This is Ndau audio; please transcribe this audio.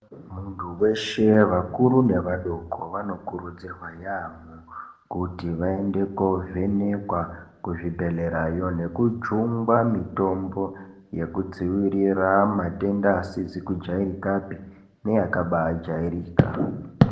Muntu weshe vakuru nevadoko vanokurudzirwa yaamho kuti vaende kovhenekwa kuzvibhehlerayo nekujungwa mitombo yekudzivirira matenda asizi kujairikapi neakabaa jairika.